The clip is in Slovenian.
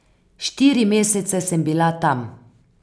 Štiri mesece sem bila tam.